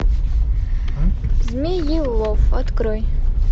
змеелов открой